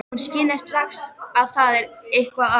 Hún skynjar strax að það er eitthvað að.